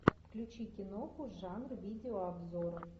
включи киноху жанр видеообзоры